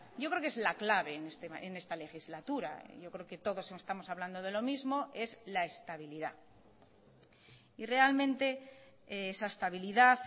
yo creo que es la clave en esta legislatura yo creo que todos estamos hablando de lo mismo es la estabilidad y realmente esa estabilidad